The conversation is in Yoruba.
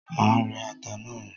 Má rẹ́ ata náà, riín.